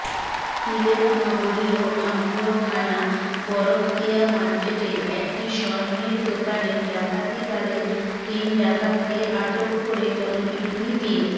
সিলেট নগরীর আম্বরখানা বরকতিয়া মার্কেটের একটি স্বর্ণের দোকানে ডাকাতিকালে তিন ডাকাতকে আটক করে গণপিটুনি দিয়ে